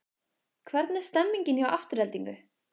Hvernig er stemningin hjá Aftureldingu?